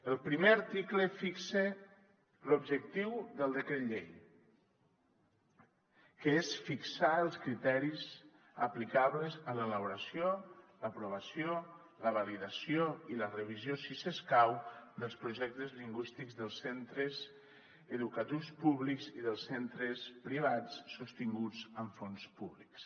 el primer article fixa l’objectiu del decret llei que és fixar els criteris aplicables en l’elaboració l’aprovació la validació i la revisió si escau dels projectes lingüístics dels centres educatius públics i dels centres privats sostinguts amb fons públics